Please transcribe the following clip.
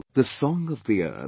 the song of the earth